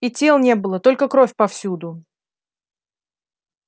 и тел не было только кровь повсюду